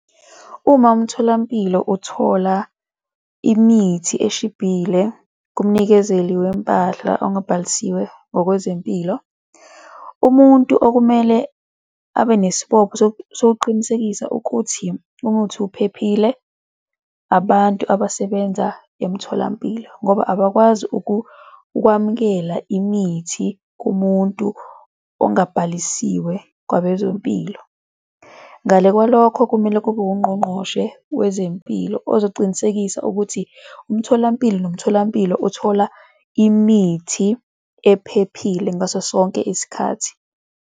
Uma umtholampilo uthola imithi eshibhile kumnikezeli wempahla ongabhalisiwe ngokwezempilo, umuntu okumele abe nesibopho sokuqinisekisa ukuthi umuthi uphephile, abantu abasebenza emtholampilo ngoba abakwazi ukwamukela imithi kumuntu ongabhalisiwe kwabezempilo. Ngale kwalokho kumele kube ungqongqoshe wezempilo ozocinikisa ukuthi umtholampilo nomtholampilo uthola imithi ephephile ngaso sonke isikhathi.